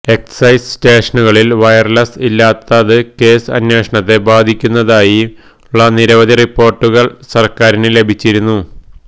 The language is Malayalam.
എക്സൈസ് സ്റ്റേഷനുകളില് വയര്ലസ് ഇല്ലാത്തത് കേസ് അന്വേഷണത്തെ ബാധിക്കുന്നതായുള്ള നിരവധി റിപ്പോര്ട്ടുകള് സര്ക്കാരിന് ലഭിച്ചിരുന്നു